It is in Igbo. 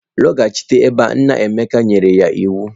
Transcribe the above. Lọghachi ebe a! Nna Emeka nyere ya iwu.